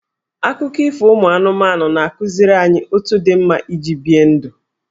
Akụkọ ifo ụmụ anụmanụ na-akụziri anyị otu dị mma iji bie ndụ.